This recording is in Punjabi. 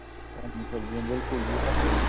ਤਾਜ਼ੀ ਸਬਜੀਆਂ ਬਿਲਕੁਲ ਜੀ ਇਹ ਤਾਂ ਹੈ ਜੀ